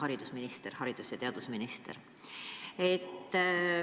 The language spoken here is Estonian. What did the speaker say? Austatud haridus- ja teadusminister!